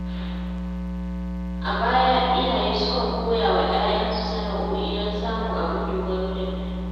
A baya, iyaye sukan koya wa ‘ya’yansu sana’o’i don samun abin dogaro da Kai.